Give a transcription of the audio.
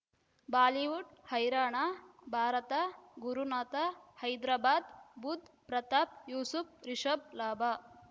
Bollywood ಹೈರಾಣ ಭಾರತ ಗುರುನಾಥ ಹೈದರಾಬಾದ್ ಬುಧ್ ಪ್ರತಾಪ್ ಯೂಸುಫ್ ರಿಷಬ್ ಲಾಭ